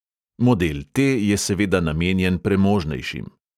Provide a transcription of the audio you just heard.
Model T je seveda namenjen premožnejšim.